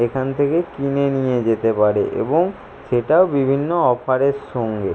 এখান থেকে কিনে নিয়ে যেতে পারে এবং সেটা বিভিন্ন অফার -এর সঙ্গে।